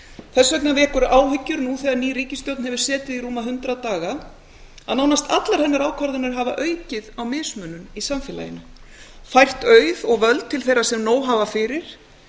þess vegna vekur áhyggjur nú þegar ný ríkisstjórn hefur setið í rúma hundrað daga að nánast allar hennar ákvarðanir hafa aukið á mismunun í samfélaginu fært auð og völd til þeirra sem nóg hafa fyrir